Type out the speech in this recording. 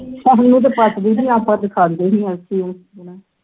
ਸਾਨੂੰ ਤੇ ਪਚਦੀ ਨਹੀਂ ਆਪਾਂ ਤੇ ਖਾਂਦੇ ਨਹੀਂ ਅਲਸੀ ਉਲਸੀ